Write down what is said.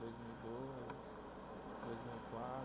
Dois mil e dois, dois mil e